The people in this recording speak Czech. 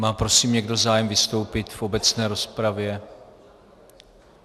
Má prosím někdo zájem vystoupit v obecné rozpravě?